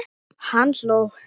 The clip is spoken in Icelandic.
Hann hló.